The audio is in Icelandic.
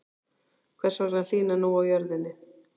Hvers vegna hlýnar nú á jörðinni?